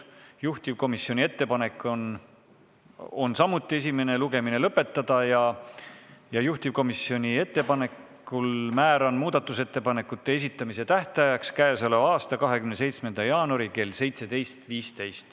Juhtivkomisjoni ettepanek on samuti esimene lugemine lõpetada ja juhtivkomisjoni ettepanekul määran muudatusettepanekute esitamise tähtajaks k.a 27. jaanuari kell 17.15.